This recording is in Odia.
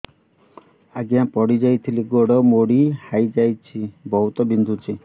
ଆଜ୍ଞା ପଡିଯାଇଥିଲି ଗୋଡ଼ ମୋଡ଼ି ହାଇଯାଇଛି ବହୁତ ବିନ୍ଧୁଛି